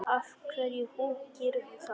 Af hverju húkirðu þarna?